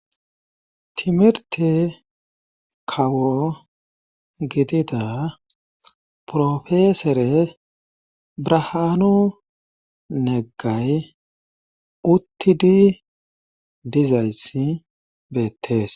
Timirte kawo gidida profesere brahaanu neggay uttidi dizayssi beettees